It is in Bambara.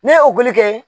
Ne ye o boli kɛ